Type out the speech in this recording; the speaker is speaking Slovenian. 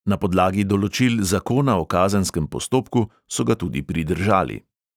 Na podlagi določil zakona o kazenskem postopku so ga tudi pridržali.